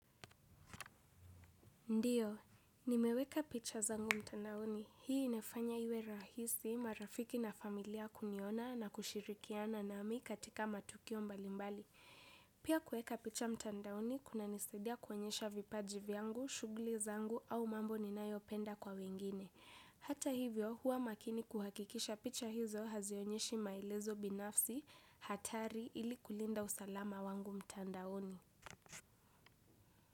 Ndiyo, nimeweka picha zangu mtandaoni. Hii inafanya iwe rahisi marafiki na familia kuniona na kushirikiana nami katika matukio mbalimbali. Pia kuweka picha mtandaoni, kunanisadia kuonyesha vipaji vyangu, shughuli zangu au mambo ninayopenda kwa wengine. Hata hivyo, huwa makini kuhakikisha picha hizo hazionyeshi maelezo binafsi hatari ili kulinda usalama wangu mtandaoni.